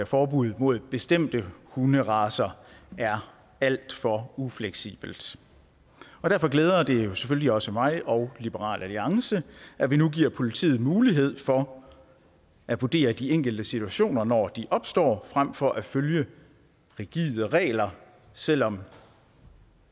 forbud mod bestemte hunderacer er alt for ufleksibelt derfor glæder det selvfølgelig også mig og liberal alliance at vi nu giver politiet mulighed for at vurdere de enkelte situationer når de opstår fremfor at følge rigide regler selv om